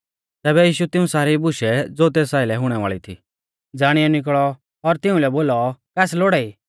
तैबै यीशु तिऊं सारी बुशै ज़ो तेस आइलै हुणै वाल़ी थी ज़ाणियौ निकल़ौ और तिउंलै बोलौ कास लोड़ाई